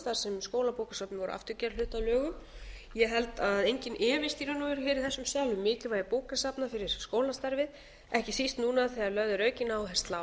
sem skólabókasöfnin voru aftur gerð hluti af lögum ég held að enginn efist í raun og veru í þessum sal um mikilvægi bókasafna fyrir skólastarfið ekki síst núna þegar lögð er aukin áhersla á